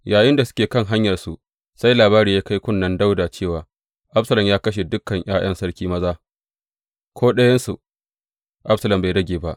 Yayinda suke kan hanyarsu, sai labari ya kai kunnen Dawuda cewa, Absalom ya kashe dukan ’ya’yan sarki maza; ko ɗayansu Absalom bai rage ba.